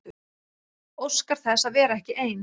Óskar þess að vera ekki ein.